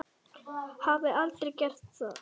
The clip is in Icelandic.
Hafði aldrei gert það.